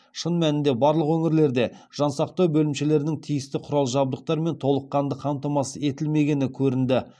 шын мәнінде барлық өңірлерде жан сақтау бөлімшелерінің тиісті құрал жабдықтармен толыққанды қамтамасыз етілмегені көрінді